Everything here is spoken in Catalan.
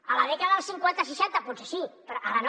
a la dècada dels cinquanta seixanta potser sí però ara no